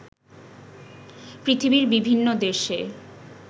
পৃথিবীর বিভিন্ন দেশে